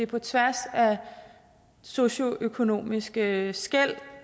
på tværs af socioøkonomiske skel